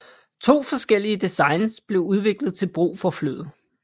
To forskellige designs blev udviklet til brug for flyet